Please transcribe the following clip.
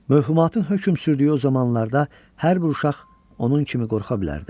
Mövhumatın hökm sürdüyü o zamanlarda hər bir uşaq onun kimi qorxa bilərdi.